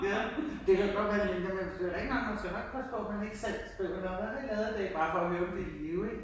Ja. Det kan godt være det ikke er men man skal jo nok passe på man ikke selv spørger hvad har du lavet i dag bare for at høre om de er i live ik